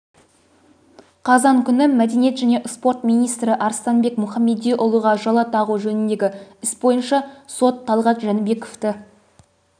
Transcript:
қазан күні мәдениет және спорт министрі арыстанбек мұхамедиұлыға жала тағу жөніндегі іс бойынша сот талғат жәнібековті